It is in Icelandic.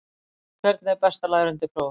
Hvernig er best að læra undir próf?